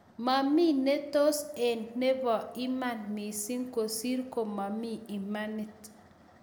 Mami ne tos ek nebo iman mising kosir ko mami imanit